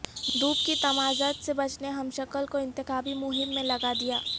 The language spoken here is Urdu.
دھوپ کی تمازت سے بچنے ہمشکل کو انتخابی مہم میں لگا دیا